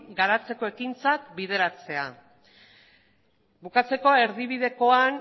garatzeko ekintzak bideratzea bukatzeko erdibidekoan